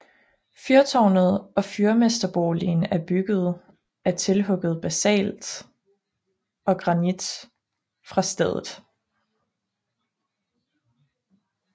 Fyrtårnet og fyrmesterboligen er byggede af tilhugget basalt og granit fra stedet